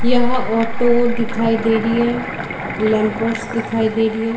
यहाँ ऑटो दिखाई दे रही है लैम्पोस दिखाई दे रही है।